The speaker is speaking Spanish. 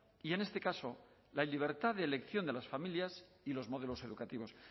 y en este caso la libertad de elección de las familias y los modelos educativos